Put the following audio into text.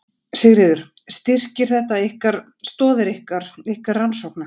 Sigríður: Styrkir þetta ykkar, stoðir ykkar, ykkar rannsókna?